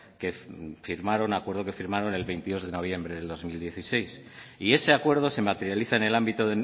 en el acuerdo que firmaron el veintidós de noviembre de dos mil dieciséis y ese acuerdo se materializa en el ámbito